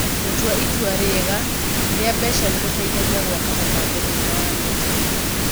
Gũtua itua rĩega rĩa mbeca nĩ gũteithagia gwaka mũbango mwega wa mbeca.